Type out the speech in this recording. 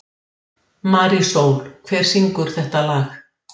Rasmus Kristján Rask.